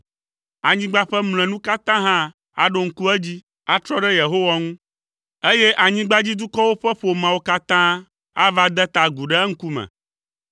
Anyigba ƒe mlɔenu katã hã aɖo ŋku edzi, atrɔ ɖe Yehowa ŋu, eye anyigbadzidukɔwo ƒe ƒomeawo katã ava de ta agu ɖe eŋkume.